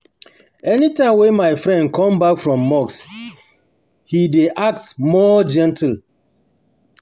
any time wey my friend come back from mosque, he dey act more gentle act more gentle